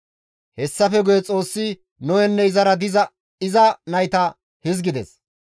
Hessafe guye Xoossi Nohenne izara diza iza nayta hizgides;